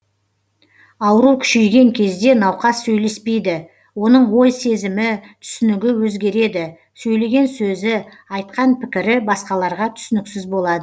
ауру күшейген кезде науқас сөйлеспейді оның ой сезімі түсінігі өзгереді сөйлеген сөзі айтқан пікірі басқаларға түсініксіз болады